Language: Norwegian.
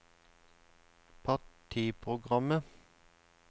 partiprogrammet